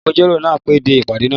Agbẹjọ́rò náà pẹ́ dé ìpàdé náà.